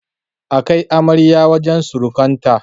A kai amaryar wajen surukanta.